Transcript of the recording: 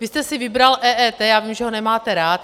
Vy jste si vybral EET, já vím, že ho nemáte rád.